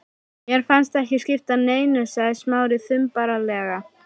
Mér fannst það ekki skipta neinu sagði Smári þumbaralega.